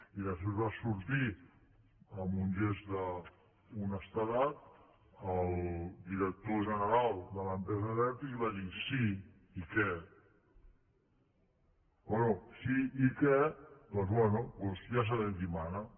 i després va sortir amb un gest d’honestedat el director general de l’empresa abertis i va dir sí i què bé sí i què doncs bé ja sabem qui mana